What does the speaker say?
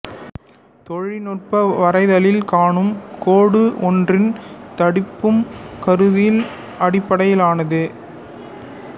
தொழில்நுட்ப வரைதலில் காணும் கோடு ஒன்றின் தடிப்பும் கருத்தியல் அடிப்படையிலானதே